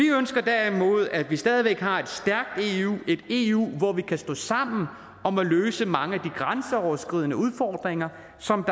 ønsker derimod at vi stadig væk har et stærkt eu et eu hvor vi kan stå sammen om at løse mange af de grænseoverskridende udfordringer som